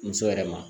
Muso yɛrɛ ma